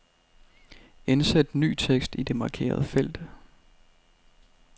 Indsæt ny tekst i det markerede felt.